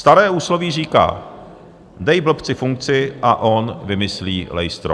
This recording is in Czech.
Staré úsloví říká: Dej blbci funkci a on vymyslí lejstro.